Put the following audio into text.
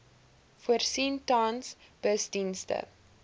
voorsien tans busdienste